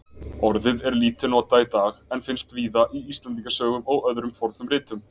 Orðið er lítið notað í dag en finnst víða í Íslendingasögum og öðrum fornum ritum.